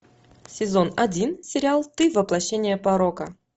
сезон один сериал ты воплощение порока